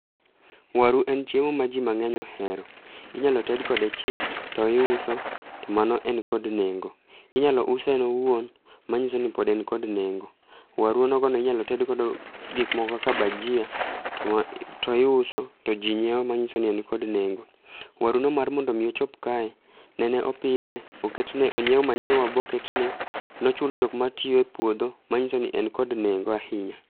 Waru en chiemo ma ji mang'eny ohero, inyalo ted kode chips to iuso to mano en kod nengo. Inyalo use en owuon manyiso ni pod en kod nengo. Waru onogono inyalo ted godo gikmoko kaka bajia to iuso, to ji nyieo manyiso ni en kod nengo. Waruno mar mondo omi ochop kae, nene opidhe onyiew manyiwa boketne, nochul jokmatiyo e puodho manyiso ni en kod nengo ahinya.